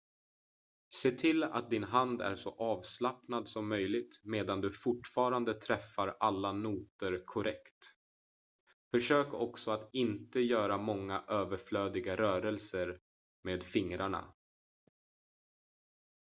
se till att din hand är så avslappnad som möjligt medan du fortfarande träffar alla noter korrekt försök också att inte göra många överflödiga rörelser med fingrarna